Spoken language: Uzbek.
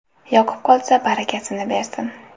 Yoqib qolsa, barakasini bersin!